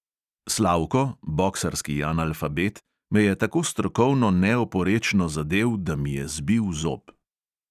Slavko – boksarski analfabet – me je tako strokovno neoporečno zadel, da mi je zbil zob.